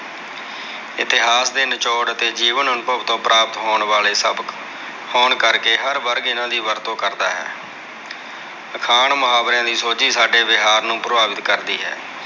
ਇਤਿਹਾਸ ਦੇ ਨਿਚੋੜ ਅਤੇ ਜੀਵਨ ਅਨੁਭਵ ਤੋਂ ਪ੍ਰਾਪਤ ਹੋਣ ਵਾਲੇ ਸਬਕ ਹੋਣ ਕਰਕੇ, ਹਰ ਵਰਗ ਇਹਨਾਂ ਦੀ ਵਰਤੋਂ ਕਰਦਾ ਹੈ। ਅਖਾਣ, ਮੁਹਾਵਰਿਆ ਦੀ ਸੋਝੀ ਸਾਡੇ ਵਿਹਾਰ ਨੂੰ ਪ੍ਰਭਾਵਿਤ ਕਰਦੀ ਹੈ।